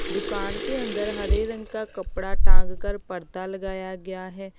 दुकान के अंदर हरे रंग का कपड़ा टांग कर पर्दा लगाया गया है।